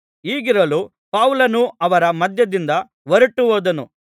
ಹೀಗಿರಲು ಪೌಲನು ಅವರ ಮಧ್ಯದಿಂದ ಹೊರಟುಹೋದನು